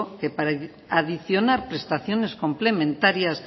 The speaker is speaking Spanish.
que para adicionar prestaciones complementarias